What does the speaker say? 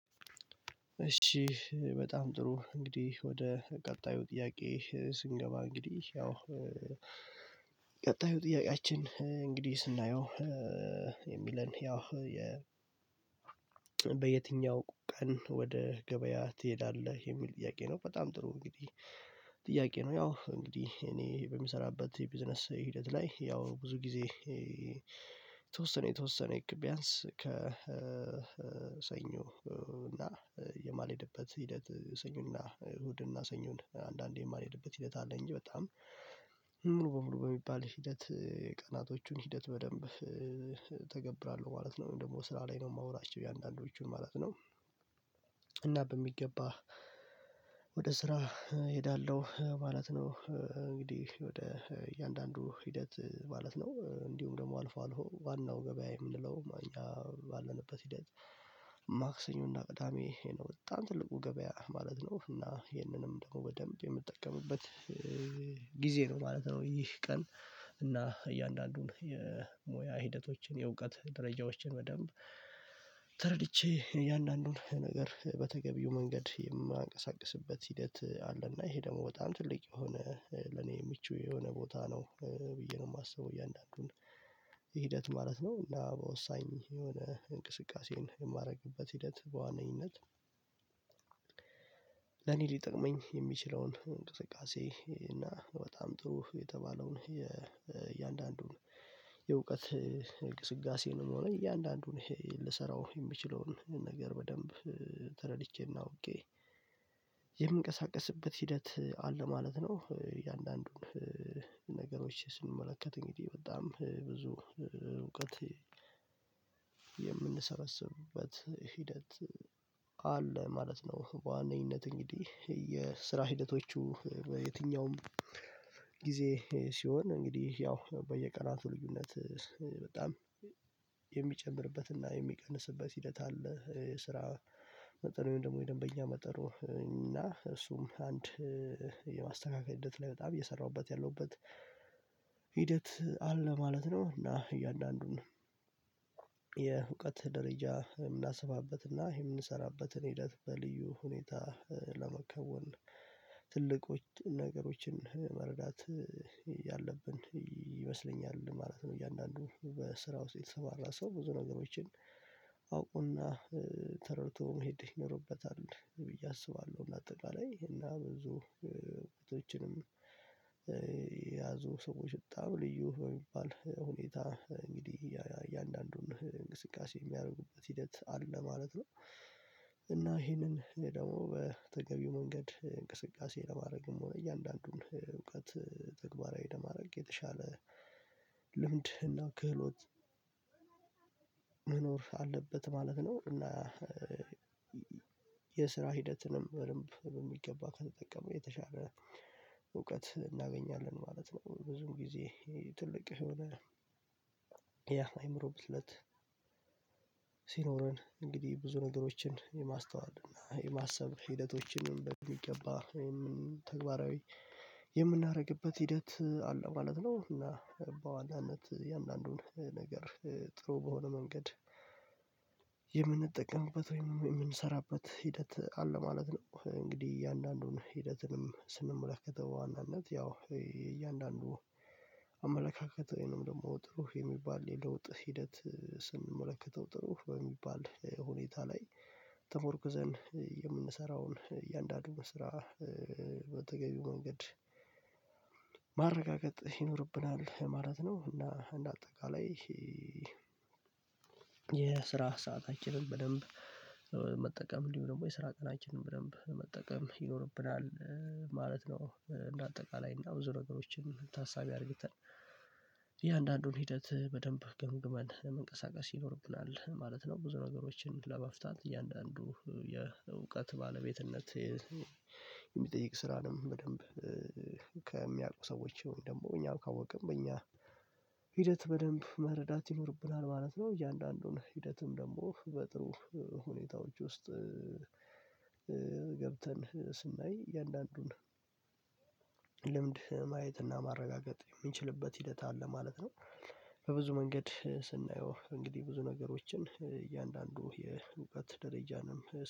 እሺ በጣም ጥሩ እንግዲህ ወደ ቀጣዩ ጥያቄ ስንገባ እንግዲህ ያው ቀጣዩ ጥያቄያችን እንግዲህ ስናየው የሚለን ያው የ በየትኛው ቀን ወደ ገበያ ትሄዳለህ የሚል ጥያቄ ነው? በጣም ጥሩ እንግዲህ ጥያቄ ነው ያው እንግዲህ እኔ በምሰራበት የቢዝነስ ሂደት ላይ ያው ብዙ ጊዜ የተወሰነ የተወሰነ ኢኩባያንስ ከሰኞ እና የማልሄድበት ሂደት ሰኞና እሁድና ሰኞን አንዳንዴ የማልሄድበት ሂደት አለኝ። በጣም ሙሉ በሙሉ በሚባል ሂደት ቀናቶቹን ሂደት በደንብ እተገብራለሁ ማለት ነው። ወይም ደግሞ ስራ ላይ ነው የማውላቸው የአንዳንዶቹን ማለት ነው። እና በሚገባ ወደ ስራ እሄዳለሁ ማለት ነው። እንግዲህ ወደ እያንዳንዱ ሂደት ማለት ነው እንዲሁም ደግሞ አልፎ አልፎ ዋናው ገበያ የምንለው ማኛ ባለንበት ሂደት ማክሰኞ እና ቅዳሜ ይሄ ነው በጣም ትልቁ ገበያ ማለት ነው። እና ይሄንንም ደግሞ በደንብ የምጠቀምበት ጊዜ ነው ማለት ነው። ይህ ቀን እና እያንዳንዱን የሞያ ሂደቶችን የእውቀት ደረጃዎችን በደንብ ተረድቼ እያንዳንዱን ነገር በተገቢው መንገድ የማንቀሳቅስበት ሂደት አለና ይሄ ደግሞ በጣም ትልቅ የሆነ ለኔ ምቹ የሆነ ቦታ ነው። ብዬ ነው የማስበው እያንዳንዱን ማለት ነው። እና በወሳኝ የሆነ እንቅስቃሴን የማደርግበት ሂደት በዋነኝነት ለኔ ሊጠቅመኝ የሚችለውን እንቅስቃሴ እና በጣም ጥሩ የተባለውን የእያንዳንዱን የእውቀት እንቅስቃሴ ነው የምንሆነው እያንዳንዱን ልሰራው የሚችለውን ነገር በደንብ ተረድቼና ኦኬ የምንቀሳቀስበት ሂደት አለ ማለት ነው። እያንዳንዱን ነገሮች ስንመለከት እንግዲህ በጣም ብዙ እውቀት የምንሰበስብበት ሂደት አለ ማለት ነው። በዋነኝነት እንግዲህ የስራ ሂደቶቹ በየትኛውም ጊዜ ሲሆን እንግዲህ ያው በየቀናቱ ልዩነት በጣም የሚጨምርበትና የሚቀንስበት ሂደት አለ ስራ መጠኑ ደግሞ የደንበኛ መጠኑ እና እሱም አንድ የማስተካከየት ላይ በጣም እየሰራሁበት ያለሁበት ሂደት አለ ማለት ነው። እና እያንዳንዱን አለ ማለት ነው። በዋነኝነት እንግዲህ የስራ ሂደቶቹ በየትኛውም ጊዜ ሲሆን እንግዲህ ያው በየቀናቱ ልዩነት በጣም የሚጨምርበትና የሚቀንስበት ሂደት አለ ስራ መጠኑ ደግሞ የደንበኛ መጠኑ እና እሱም አንድ የማስተካከየት ላይ በጣም እየሰራሁበት ያለሁበት የያዙ ሰዎች በጣም ልዩ በሚባል ሁኔታ እንግዲህ የእያንዳንዱን እንቅስቃሴ የሚያደርጉበት ሂደት አለ ማለት ነው። እና ይሄንን ደግሞ በተገቢው መንገድ እንቅስቃሴ ለማድረግ የምንሆነው እያንዳንዱን እውቀት ተግባራዊ ለማድረግ የተሻለ ልምድና ክህሎት መኖር አለበት ማለት ነው። እና የስራ ሂደትንም በደንብ በሚገባ ከተጠቀመው የተሻለ እውቀት እናገኛለን ማለት ነው። ብዙም ጊዜ ትልቅ የሆነ አይምሮ ብስለት ሲኖረን እንግዲህ ብዙ ነገሮችን የማስተዋል እና የማሰብ ሂደቶችንም በደንብ የሚገባ ወይም ተግባራዊ የምናደርግበት ሂደት አለ ማለት ነው። እና በዋናነት የእንዳንዱን ነገር ጥሩ በሆነ መንገድ የምንጠቀምበት ወይም የምንሰራበት ሂደት አለ ማለት ነው። እንግዲህ እያንዳንዱን ሂደትንም ስንመለከተው በዋናነት ያው የእያንዳንዱ አመለካከት ወይንም ደግሞ ጥሩ የሚባል የለውጥ ሂደት ስንመለከተው ጥሩ በሚባል ሁኔታ ላይ ተመርኩዘን የምንሰራዉን እያንዳንዱ ስራ በተገቢው መንገድ ማረጋገጥ ይኖርብናል ማለት ነው። እና እንደ አጠቃላይ ይሄ የስራ ሰአታችንን በደንብ መጠቀም እንዲሁ ደግሞ የስራ ቀናችንን በደንብ መጠቀም ይኖርብናል ማለት ነው። እንደ አጠቃላይ እና ብዙ ነገሮችን ታሳቢ አድርገን የአንዳንዱን ሂደት በደንብ ገምግመን መንቀሳቀስ ይኖርብናል ማለት ነው። ብዙ ነገሮችን ለመፍታት እያንዳንዱ የእውቀት ባለቤትነት የሚጠይቅ ስራ ነው። በደንብ ከሚያዉቁ ሰዎች ደግሞ እኛም ካወቅን በእኛ ሂደት በደንብ መረዳት ይኖርብናል ማለት ነው። እያንዳንዱን ሂደትም ደግሞ በጥሩ ሁኔታዎች ውስጥ ገብተን ስናይ እያንዳንዱን ልምድ ማየት እና ማረጋገጥ የምንችልበት ሂደት አለ ማለት ነው። በብዙ መንገድ ስናየው እንግዲህ ብዙ ነገሮችን እያንዳንዱ የንቃት ደረጃንም